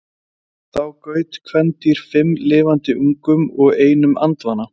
Þá gaut kvendýr fimm lifandi ungum og einum andvana.